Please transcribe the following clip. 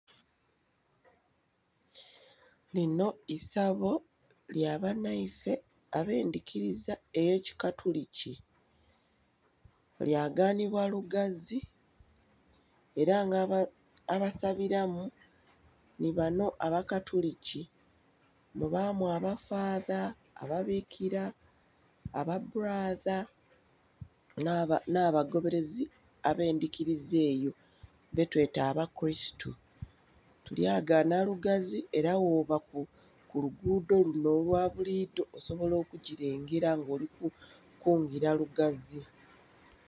Linho isabo lya banhaife abendhikiliza ey'ekikatuliki, lyaganhibwa lugazi ela nga abasabilamu nhi banho abakatuliki. Mubaamu aba "father", ababikila, aba "brother" nh'abagoberezi abendhikiliza eyo betweta abakurisitu. Tulyagaana lugazi ela bwoba ku luguudo lunho olwa bulidho osobola okukilengera nga oli kwingila lugazi.